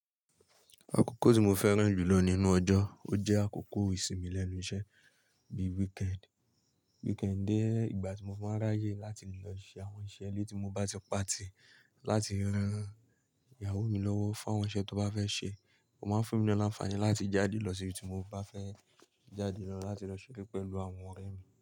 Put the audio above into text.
Àkókò tí mo fẹ́ràn jù lọ ninú ọjọ́, ó jẹ́ àkókò ìsinmi lẹ́nu iṣẹ́ bíi weekend. Weekend jẹ́ ìgbà tí mo fí máa ń ráyè láti lọ ṣe àwọn iṣẹ́ ilé tí mo bá ti pàtì, láti rán ìyàwó mi lọ́wọ́ fún àwọn iṣẹ́ tó bá fẹ́ ṣe. Ó máa ń fún èmi náà lánfààni láti jáde lọ síbi tí mo bá fẹ́ jáde lọ láti lọ ṣeré pẹ̀lú àwọn ọ̀rẹ́ ẹ̀mi.